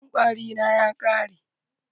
Maganin kwari na ya ƙare.